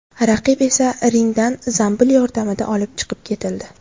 Raqib esa ringdan zambil yordamida olib chiqib ketildi.